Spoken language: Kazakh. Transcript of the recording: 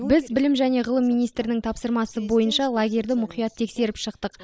біз білім және ғылым министрінің тапсырмасы бойынша лагерьді мұқият тексеріп шықтық